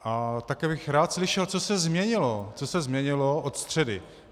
A také bych rád slyšel, co se změnilo, co se změnilo od středy.